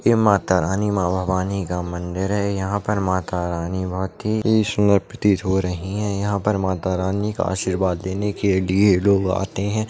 ये माता रानी मां भवानी का मंदिर है यहाँ पर माता रानी मां की स्मृति प्रतीत हो रही है यहाँ पर माता रानी का आशीर्वाद लेने के लिए लोग आते हैं।